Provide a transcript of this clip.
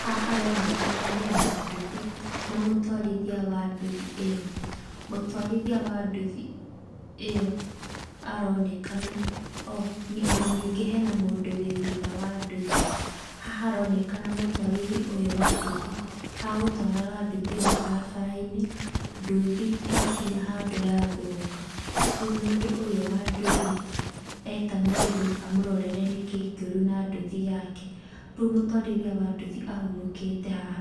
Haha haronekana hena nduthi, na mũtwarithia wa nduthi ĩyo. Mũtwarithia wa nduthi ĩyo aronekana, o ona ningĩ hena mũndũ wĩ thutha wa nduthi. Haha haronekana mũtwarithia ũyũ wa nduthi agũtwaraga nduthi ĩyo barabarainĩ, nduthi yakinya handũ yathũka. Rĩũ mũndũ ũyũ wa nduthi eta mũndũ amũrorere nĩkiĩ kĩũru na nduthi yake. Rĩũ mũtwarithia wa nduthi ahurukĩte haha